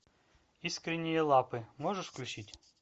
искренние лапы можешь включить